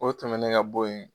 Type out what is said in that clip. O tɛmɛnen ka bɔ yen